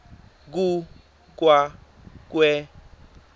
ku kwa kwe